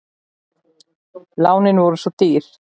Lánin voru svo ódýr.